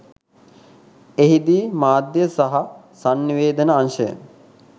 එහි දී මාධ්‍ය සහ සන්නිවේදන අංශය